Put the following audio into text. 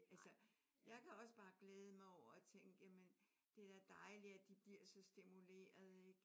Altså jeg kan også bare glæde mig over at tænke jamen det er da dejligt at de bliver så stimulerede ik?